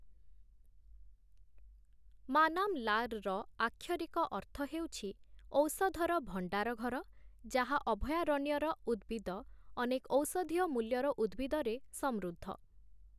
ମାନାମ୍‌ଲାର୍‌ଋ ଆକ୍ଷରିକ ଅର୍ଥ ହେଉଛି, 'ଔଷଧର ଭଣ୍ଡାର ଘର' ଯାହା ଅଭୟାରଣ୍ୟର ଉଦ୍ଭିଦ ଅନେକ ଔଷଧୀୟ ମୂଲ୍ୟର ଉଦ୍ଭିଦରେ ସମୃଦ୍ଧ ।